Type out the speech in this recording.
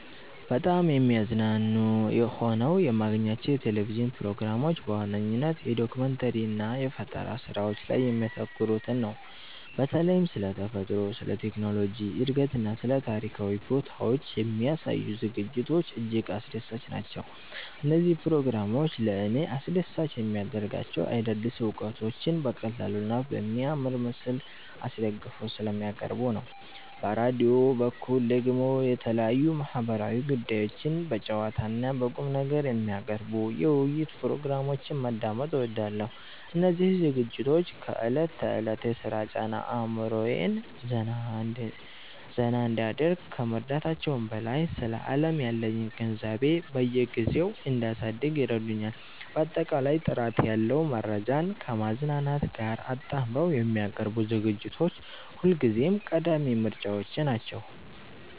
በጣም የሚያዝናኑ ሆነው የማገኛቸው የቴሌቪዥን ፕሮግራሞች በዋነኝነት የዶኩመንተሪ እና የፈጠራ ስራዎች ላይ የሚያተኩሩትን ነው። በተለይም ስለ ተፈጥሮ፣ ስለ ቴክኖሎጂ እድገትና ስለ ታሪካዊ ቦታዎች የሚያሳዩ ዝግጅቶች እጅግ አስደሳች ናቸው። እነዚህ ፕሮግራሞች ለእኔ አስደሳች የሚያደርጋቸው አዳዲስ እውቀቶችን በቀላሉና በሚያምር ምስል አስደግፈው ስለሚያቀርቡ ነው። በራዲዮ በኩል ደግሞ የተለያዩ ማህበራዊ ጉዳዮችን በጨዋታና በቁምነገር የሚያቀርቡ የውይይት ፕሮግራሞችን ማዳመጥ እወዳለሁ። እነዚህ ዝግጅቶች ከዕለት ተዕለት የሥራ ጫና አእምሮዬን ዘና እንዲያደርግ ከመርዳታቸውም በላይ፣ ስለ ዓለም ያለኝን ግንዛቤ በየጊዜው እንዳሳድግ ይረዱኛል። ባጠቃላይ ጥራት ያለው መረጃን ከማዝናናት ጋር አጣምረው የሚያቀርቡ ዝግጅቶች ሁልጊዜም ቀዳሚ ምርጫዎቼ ናቸው።